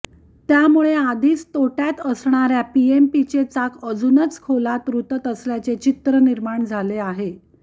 त्यामुळे आधीच तोट्यात असणाऱ्या पीएमपीचे चाक अजूनच खोलात रुतत असल्याचे चित्र निर्माण झाले आहे